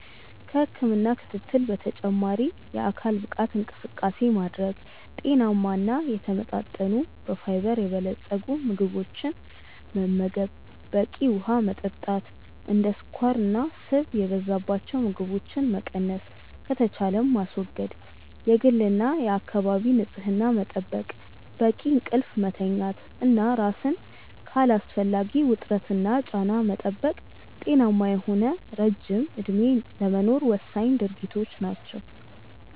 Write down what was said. ከህክምና ክትትል በተጨማሪ የአካል ብቃት እንቅስቃሴ ማድረግ፣ ጤናማ እና የተመጣጠኑ በፋይበር የበለፀጉ ምግቦችን መመገብ፣ በቂ ውሀ መጠጣት፣ እንደ ስኳርና ስብ የበዛባቸው ምግቦችን መቀነስ ከተቻለም ማስወገድ፣ የግልና የአካባቢ ንጽህና መጠበቅ፣ በቂ እንቅልፍ መተኛት እና ራስን ከአላስፈላጊ ውጥረትና ጫና መጠበቅ ጤናማ የሆነ ረጅም እድሜ ለመኖር ወሳኝ ድርጊቶች ናቸው።